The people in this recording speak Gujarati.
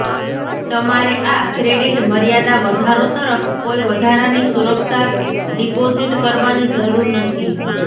તમારે આ ક્રેડિટ મર્યાદા વધારો તરફ કોઈ વધારાની સુરક્ષા ડિપોઝિટ કરવાની જરૂર નથી